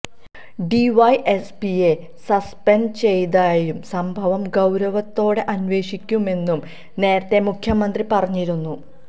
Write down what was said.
ഡിവൈഎസ്പിയെ suspend ചെയ്തതായും സംഭവം ഗൌരവത്തോടെ അന്വേഷിക്കുമെന്നും നേരത്തെ മുഖ്യമന്ത്രി പറഞ്ഞിരുന്നു